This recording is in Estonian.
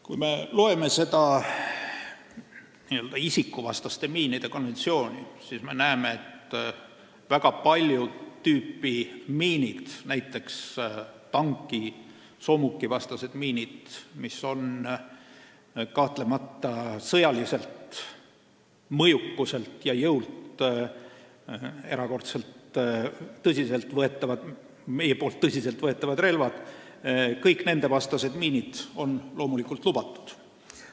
Kui me loeme seda isikuvastaste miinide keelustamise konventsiooni, siis me näeme, et väga paljud miinid, näiteks tanki- ja soomukivastased miinid, mis on kahtlemata sõjaliselt mõjukuselt ja jõult erakordselt tõsiselt võetavad relvad, on loomulikult lubatud.